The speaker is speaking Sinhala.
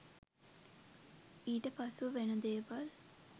ඊට පසුව වෙන දේවල්